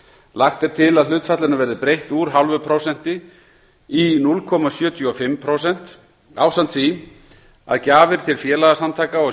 lagt er til að hlutfallinu verði breytt úr núll fimm prósent í núll komma sjötíu og fimm prósent ásamt því að gjafir til félagasamtaka og